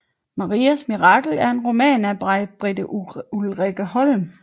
Marias mirakel er en roman af Majbritte Ulrikkeholm